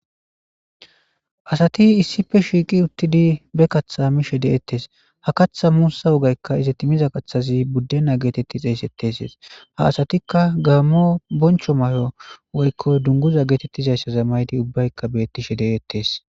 Asati issife shiiqi uttidi be kathamishe de'ettes ha kaththa muussa wogaykka iza timiza qaththazi buddena geetetti xeesetteses ha asatikka gaammo boncho may'o woykko dunguza geetettizayssa za maydi ubbaykka bettishe de'ettes.